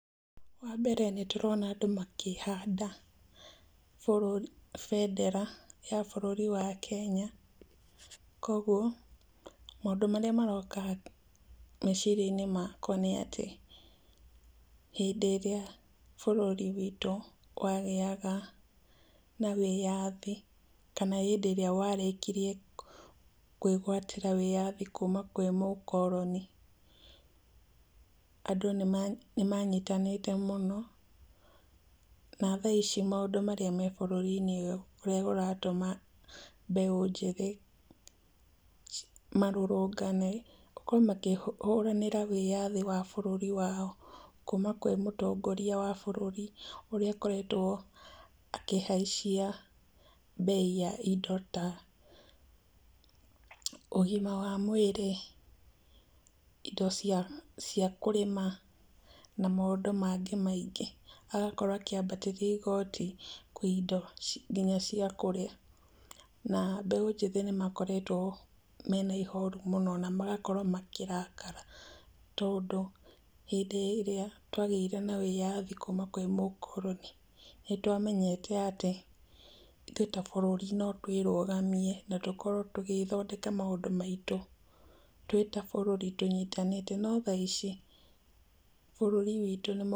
Wa mbere nĩndĩrona andũ makĩhanda bendera ya bũrũri wa Kenya, koguo, maũndũ marĩa maroka meciria-inĩ makwa nĩ atĩ, hĩndĩ ĩrĩa bũrũri witũ wagĩaga na wĩyathi, kana hĩndĩ ĩrĩa warĩkirie kwĩgwatĩra wĩyathi kuuma kwĩ mũkoroni, andũ nĩmanyitanĩte mũno, na tha ici maũndũ marĩa me bũrũri-inĩ ũyũ, nĩmaratũma mbeũ njĩthĩ, marũrũngane, gũkorwo makĩhũranĩra wĩyathi wa bũrũri wao, kuuma kwĩ mũtongoria wa bũrũri, ũrĩa akoretwo akĩhaicia mbei ya indo ta, ũgima wa mwĩrĩ, indo cia kũrĩma na maũndũ mangĩ maingĩ. Agakorwo akĩambatĩria igoti kwĩ indo nginya cia kũrĩa, na mbeũ njĩthĩ nĩmakoretwo mena ihoru mũno na magakorwo makĩrakara, tondũ hĩndĩ ĩrĩa twagĩire na wĩyathi kuuma kwĩ mũkoroni, nĩtwamenyete atĩ ithuĩ ta bũrũri no twĩrũgamie na tũkorwo gũthondeka maũndũ maitũ, twĩ ta bũrũri tũnyitanĩte, no tha ici bũrũri witũ...